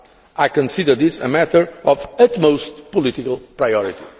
I consider this a matter of utmost political priority.